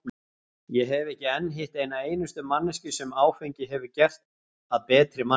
Ég hef ekki enn hitt eina einustu manneskju sem áfengið hefur gert að betri manni.